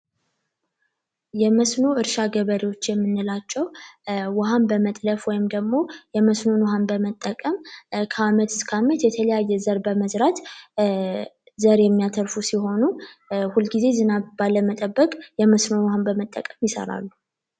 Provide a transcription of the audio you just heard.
የመስኖ እርሻ ገበሬዎች የምንላቸው ውሃን በመጥለፍ ወይም ደግሞ የመስኖ ውሃን በመጠቀም ከአመት እስከ አመት የተለያየ ዘር በመዝራት ዘር የሚያተርፉ ሲሆኑ ሁልጊዜ ዝናብ ባለመጠበቅ የመስኖ ዉሃ በመጠቀም ይዘራሉ።